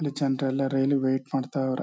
ಇಲ್ ಜನರೆಲ್ಲ ರೈಲ್ಗ್ ವೇಟ್ ಮಾಡ್ತಾವ್ರೆ.